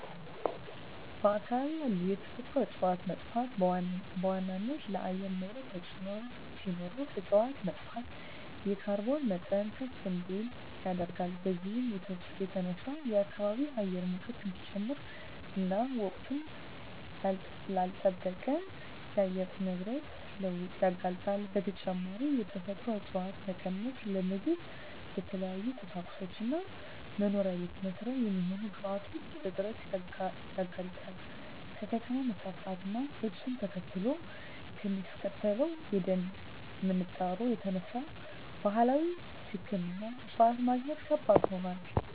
በአካባቢ ያሉ የተፈጥሮ እፀዋት መጥፋት በዋናነት ለአየር ንብረት ተፅዕኖ ሲኖረው እፅዋት መጥፋት የካርቦን መጠን ከፍ እንዲል ያደርጋል። በዚህም የተነሳ የከባቢ አየር ሙቀት እንዲጨምር እና ወቅቱን ላልለጠበቀ የአየር ንብረት ለውጥ ያጋልጣል። በተጨማሪም የተፈጥሮ እፀዋት መቀነስ ለምግብ፣ ለተለያዩ ቁሳቁሶች እና መኖሪያ ቤት መስሪያ የሚሆኑ ግብአቶች እጥረት ያጋልጣል። ከከተማ መስፋፋት እና እሱን ተከትሎ ከሚከሰተው የደን ምንጣሮ የተነሳ ባህላዊ ሕክምና እፅዋት ማግኘት ከባድ ሆኗል።